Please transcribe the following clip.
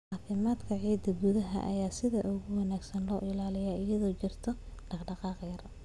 Caafimaadka ciidda gudaha ayaa sida ugu wanaagsan loo ilaaliyaa iyadoo ay jirto dhaqdhaqaaq yar.